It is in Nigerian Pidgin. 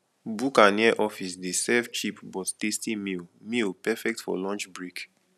bukka near office dey serve cheap but tasty meal meal perfect for lunch break